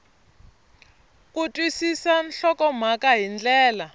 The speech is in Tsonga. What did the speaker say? ku twisisa nhlokomhaka hi ndlela